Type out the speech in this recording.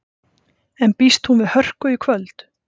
En býst hún við hörku í kvöld?